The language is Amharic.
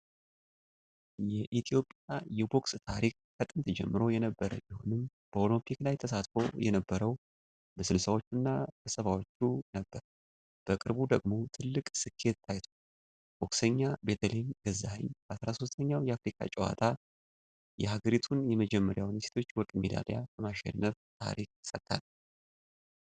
የኢትዮጵያ የቦክስ ታሪክ ከጥንት ጀምሮ የነበረ ቢሆንም፣ በኦሎምፒክ ላይ ተሳትፎ የነበረው በ60ዎቹ እና 70ዎቹ ነበር። በቅርቡ ደግሞ ትልቅ ስኬት ታይቷል። ቦክሰኛ ቤተልሔም ገዛኸኝ በ13ኛው የአፍሪካ ጨዋታዎች የሀገሪቱን የመጀመሪያውን የሴቶች የወርቅ ሜዳሊያ በማሸነፍ ታሪክ ሰርታለች።